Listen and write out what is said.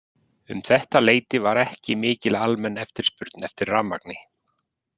Um þetta leyti var ekki mikil almenn eftirspurn eftir rafmagni.